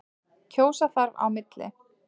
Kjósa þarf á milli.